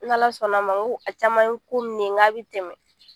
N'Ala sɔnna a ma ko a caman ye ko min ye n k'a bɛ tɛmɛ